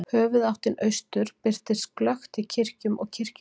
Höfuðáttin austur birtist glöggt í kirkjum og kirkjugörðum.